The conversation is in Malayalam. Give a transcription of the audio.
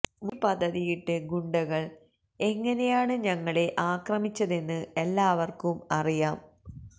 മുന്കൂട്ടി പദ്ധതിയിട്ട് ഗുണ്ടകള് എങ്ങനെയാണ് ഞങ്ങളെ ആക്രമിച്ചതെന്ന് എല്ലാവര്ക്കും അറിയാം